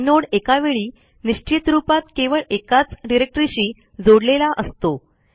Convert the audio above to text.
inode एकावेळी निश्चित रूपात केवळ एकाच डिरेक्टरीशी जोडलेला असतो